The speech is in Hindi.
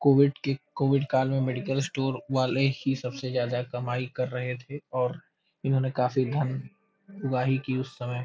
कोविड की कोविड काल में मेडिकल स्टोर वाले ही सबसे ज्यादा कमाई कर रहे थे और इन्होंने काफी धन उगाही की उस समय।